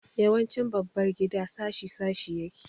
Yawancin babbar gida shashi shashi yake.